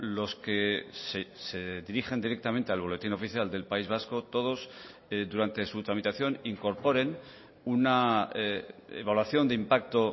los que se dirigen directamente al boletín oficial del país vasco todos durante su tramitación incorporen una evaluación de impacto